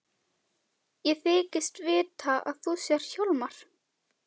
Ég þykist vita að þú sért Hjálmar.